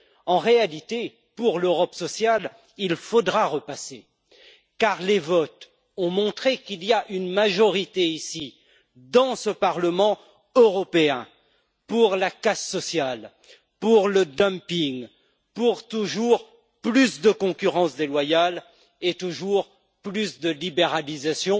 En réalité, pour l'Europe sociale, il faudra repasser car les votes ont montré qu'il y a une majorité ici, dans ce Parlement européen, pour la casse sociale, pour le dumping, pour toujours plus de concurrence déloyale et toujours plus de libéralisation